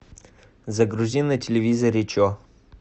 загрузи на телевизоре че